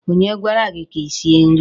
Onye gwara gị ka i sie nri?